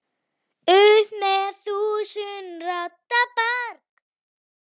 upp með þúsund radda brag.